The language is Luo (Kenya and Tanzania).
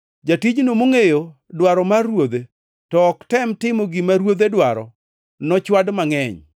“Jatijno mongʼeyo dwaro mar ruodhe to ok otem timo gima ruodhe dwaro nochwad mangʼeny.